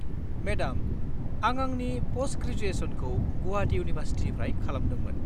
Madam, आं आंनि प'स्ट-ग्रेजुयेस'नखौ गुवाहाटि इउनिभारसिटिनिफ्राय खालामदोंमोन।